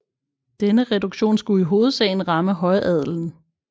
Denne reduktion skulle i hovedsagen ramme højadelen